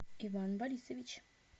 иван борисович